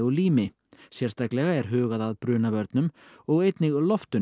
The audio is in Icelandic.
lími sérstaklega er hugað að brunavörnum og einnig